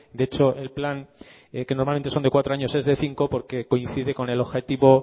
de hecho el plan que normalmente son de cuatro años es de cinco porque coincide con el objetivo